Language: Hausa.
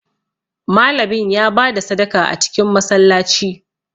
Malamin ya ba da sadaka a cikin Masallaci